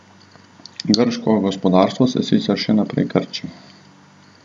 Grško gospodarstvo se sicer še naprej krči.